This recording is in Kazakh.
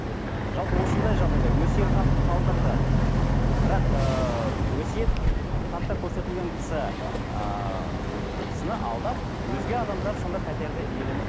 жалпы осындай жағдайда өсиет хат қалдырды бірақ ыыы өсиет хатта көрсетілген кісі ыыы кісіні алдап өзге адамдар сонда пәтерді иеленіп